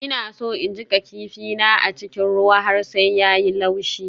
Ina so in jiƙa kifin na a cikin ruwa har sai ya yi laushi.